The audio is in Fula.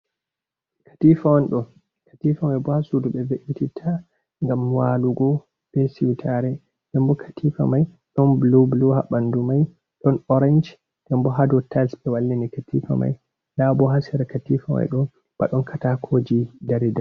Katifa on ɗo. katifa mai bo ha suɗu be be’titta. Gam walugo be siwtare. Ɗenbo katifa mai ɗon bulu bulu ha banɗu mai, ɗon orange ɗenbo ha ɗow tals be wallini katifa mai. Ɗabo ha sera katifa mai bo badon katakoji ɗari ɗari.